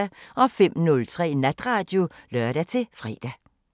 05:03: Natradio (lør-fre)